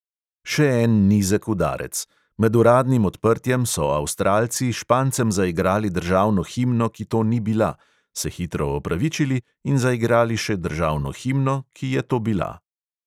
Še en nizek udarec, med uradnim odprtjem so avstralci špancem zaigrali državno himno, ki to ni bila, se hitro opravičili in zaigrali še državno himno, ki je to bila.